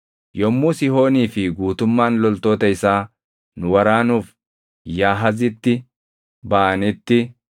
Yommuu Sihoonii fi guutummaan loltoota isaa nu waraanuuf Yaahazitti baʼanitti,